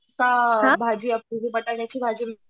का भाजी बटाट्याची भाजी